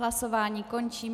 Hlasování končím.